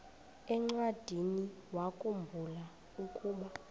encwadiniwakhu mbula ukuba